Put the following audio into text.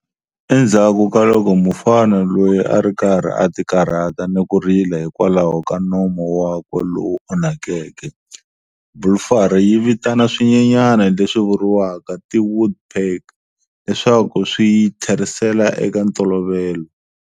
Endzhaku ka loko mufana loyi a ri karhi a tikarhata ni ku rila hikwalaho ka nomo wakwe lowu onhakeke, Blue Fairy yi vitana swinyenyana leswi vuriwaka ti-woodpecker leswaku swi yi tlherisela eka ntolovelo.